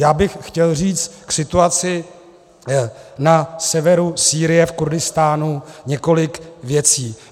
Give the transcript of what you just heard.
Já bych chtěl říct k situaci na severu Sýrie v Kurdistánu několik věcí.